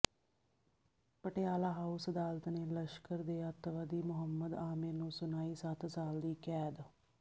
Patiala house ਅਦਾਲਤ ਨੇ ਲਸ਼ਕਰ ਦੇ ਅੱਤਵਾਦੀ ਮੁਹੰਮਦ ਆਮਿਰ ਨੂੰ ਸੁਣਾਈ ਸੱਤ ਸਾਲ ਦੀ ਕੈਦ